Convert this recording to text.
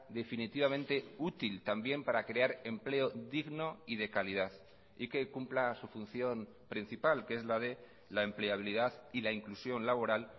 definitivamente útil también para crear empleo digno y de calidad y que cumpla su función principal que es la de la empleabilidad y la inclusión laboral